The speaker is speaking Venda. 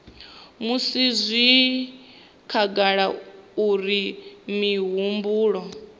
musi zwi khagala uri mihumbulo